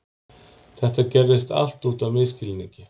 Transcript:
Þetta gerðist allt út af misskilningi.